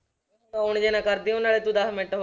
On ਜਿਹੇ ਨਾ ਕਰ ਦੇਈਂ ਉਹ ਨਾਲੇ ਤੂੰ ਦਸ ਮਿੰਟ